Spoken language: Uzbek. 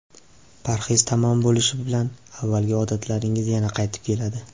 Parhez tamom bo‘lishi bilan avvalgi odatlaringiz yana qaytib keladi.